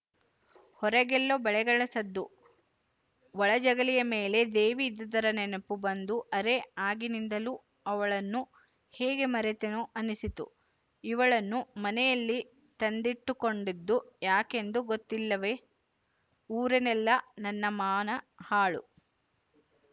ಹೊರಗೆಲ್ಲೋ ಬಳೆಗಳ ಸದ್ದು ಒಳಜಗಲಿಯ ಮೇಲೆ ದೇವಿ ಇದ್ದುದರ ನೆನಪು ಬಂದು ಅರೇ ಆಗಿನಿಂದಲೂ ಅವಳನ್ನು ಹೇಗೆ ಮರೆತೆನೋ ಅನ್ನಿಸಿತು ಇವಳನ್ನು ಮನೆಯಲ್ಲಿ ತಂದಿಟ್ಟುಕೊಂಡದ್ದು ಯಾಕೆಂದು ಗೊತ್ತಿಲ್ಲವೇ ಊರಲ್ಲೆಲ್ಲ ನನ್ನ ಮಾನ ಹಾಳು